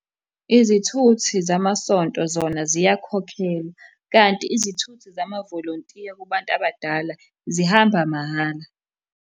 Izithuthi zamasonto zona ziyakhokhelwa, kanti izithuthi zamavolontiya kubantu abadala zihamba mahhala.